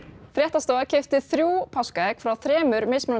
fréttastofa keypti þrjú páskaegg frá þremur